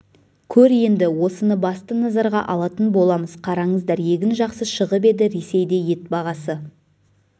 көр енді осыны басты назарға алатын боламыз қараңыздар егін жақсы шығып еді ресейде ет бағасы